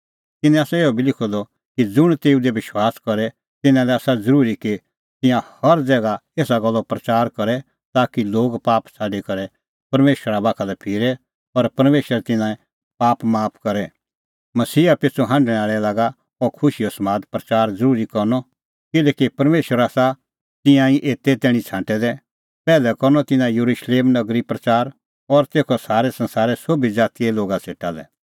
तिन्नैं आसा इहअ बी लिखअ द कि ज़ुंण तेऊ दी विश्वास करे तिन्नां लै आसा ज़रूरी कि तिंयां हर ज़ैगा एसा गल्लो प्रच़ार करे ताकि लोग पाप छ़ाडी करै परमेशरा बाखा लै फिरे और परमेशर तिन्नें पाप माफ करे मसीहा पिछ़ू हांढणै आल़ै लागा अह खुशीओ समाद प्रच़ार ज़रूरी करनअ किल्हैकि परमेशरै आसा तिंयां एते ई तैणीं छ़ाडै दै पैहलै करनअ तिन्नां येरुशलेम नगरी प्रच़ार और तेखअ सारै संसारे सोभी ज़ातीए लोगा सेटा लै